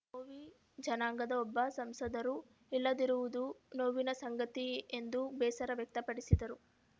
ಭೋವಿ ಜನಾಂಗದ ಒಬ್ಬ ಸಂಸದರೂ ಇಲ್ಲದಿರುವುದು ನೋವಿನ ಸಂಗತಿ ಎಂದು ಬೇಸರ ವ್ಯಕ್ತಪಡಿಸಿದರು